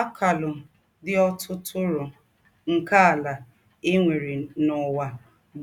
Àkàlù dị ǒtùtúrụ̀ nke àlà è nwèrè n’Ǔwà